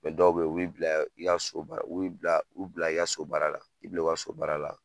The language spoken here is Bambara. dɔw bɛ ye u b'i bila i ka so baara u b'i bila u bila i ka so baara la k'i bila i ka so baara la.